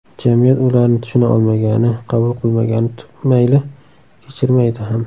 Jamiyat ularni tushuna olmagani, qabul qilmagani mayli, kechirmaydi ham.